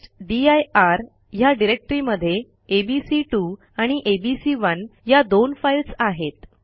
टेस्टदीर ह्या डिरेक्टरीमध्ये एबीसी2 आणि एबीसी1 या दोन फाईल्स आहेत